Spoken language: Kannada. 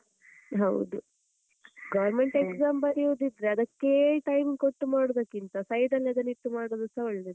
ಹೌದು, government exam ಬರಿಯುದಿದ್ರೆ ಅದಕ್ಕೆ time ಕೊಟ್ಟು ಮಾಡುದಕ್ಕಿಂತ side ಲ್ಲಿ ಅದನಿಟ್ಟು ಮಾಡುದುಸ ಒಳ್ಳೇದು.